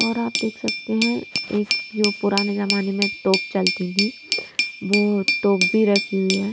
और आप देख सकते हैं एक जो पुराने जमाने में तोप चलती थी वो तोप भी रखी हुई है।